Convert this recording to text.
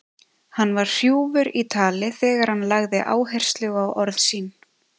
Hann var hrjúfur í tali þegar hann lagði áherslu á orð sín.